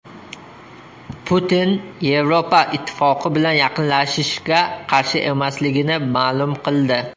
Putin Yevropa Ittifoqi bilan yaqinlashishga qarshi emasligini ma’lum qildi.